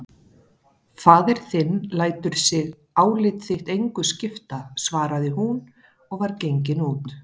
Faðir þinn lætur sig álit þitt engu skipta, svaraði hún og var gengin út.